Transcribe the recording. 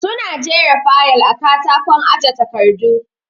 Su na jera fayal a katakon aje takardu